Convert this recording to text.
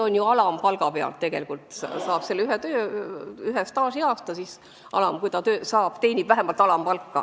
Ka alampalga korral saab kirja ühe staažiaasta.